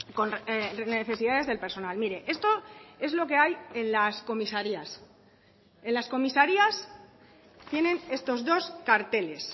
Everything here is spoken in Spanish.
con necesidades del personal mire esto es lo que hay en las comisarías en las comisarías tienen estos dos carteles